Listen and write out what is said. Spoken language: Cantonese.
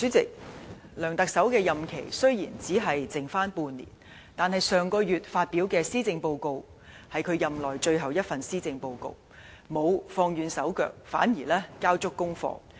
主席，梁特首的任期雖只剩半年，但他在上月發表任內最後一份施政報告時，並沒有"放軟手腳"，反而交足功課。